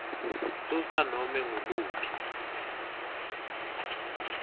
susa nobe ngukuphi